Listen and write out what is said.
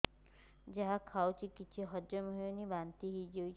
ଯାହା ଖାଉଛି କିଛି ହଜମ ହେଉନି ବାନ୍ତି ହୋଇଯାଉଛି